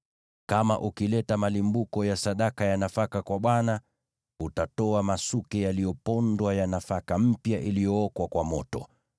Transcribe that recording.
“ ‘Kama ukileta malimbuko ya sadaka ya nafaka kwa Bwana , utatoa masuke yaliyopondwa ya nafaka mpya iliyookwa kwa moto.